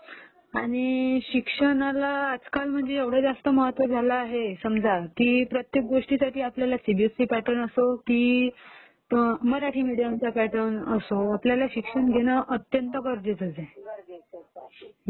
आणि शिक्षणाला आजकाल म्हणजे एवढं महत्त्व झालंय आहे की समजा की प्रत्येक गोष्टीसाठी आपल्याला सीबीएससी पॅटर्न असो की मराठी मीडियमपॅटर्न असो आपल्याला शिक्षण घेणं अत्यंत गरजेचं आहे